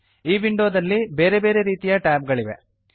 ಈ ವಿಂಡೋದಲ್ಲಿ ಬೇರೆ ಬೇರೆ ರೀತಿಯ ಟ್ಯಾಬ್ ಗಳಿವೆ